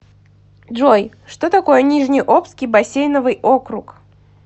джой что такое нижнеобский бассейновый округ